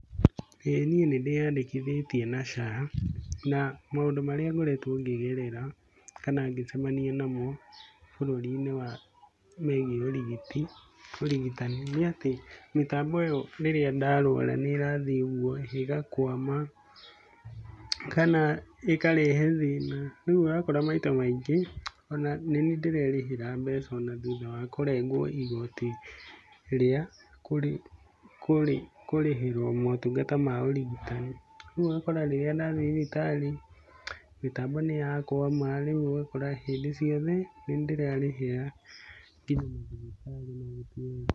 ĩĩ niĩ nĩ ndĩyandĩkithĩtie na SHA, na maũndũ marĩa ngoretwo ngĩgerera kana ngĩcemania namo, bũrũri-inĩ wa megiĩ ũrigiti ũrigitani, nĩ atĩ mĩtambi ĩyo rĩrĩa ndarwara nĩ ĩrathiĩ ũguo ĩgakwama, kana ĩkarehe thĩna. Rĩu ũrakora maita maingi ona nĩ niĩ ndirerĩhira mbeca ona thutha wa kũrengwo igoti ria kũrĩhĩrwo motungata ma ũrigitani. Ũguo ũgakora rĩrĩa ndathii thibitarĩ mitambo nĩ ya kwama ũguo ũgakora hĩndĩ ciothe nĩ niĩ ndĩrerĩhĩra nginya mathibitari.